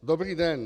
Dobrý den.